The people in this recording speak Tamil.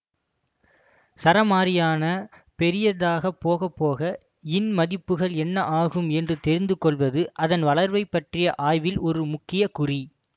சாராமாறியான பெரியதாகப்போகப்போக இன் மதிப்புகள் என்ன ஆகும் என்று தெரிந்துகொள்வது அதன் வளர்வைப்பற்றிய ஆய்வில் ஒரு முக்கிய குறி